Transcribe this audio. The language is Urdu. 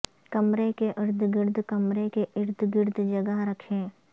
کمرے کے ارد گرد کمرے کے ارد گرد جگہ رکھیں